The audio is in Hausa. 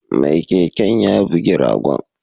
Mai keken ya bugi ragon